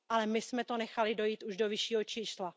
Ale my jsme to nechali dojít už do vyššího čísla.